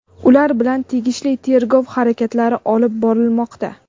ular bilan tegishli tergov harakatlari olib borilmoqda.